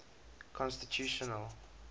constitutional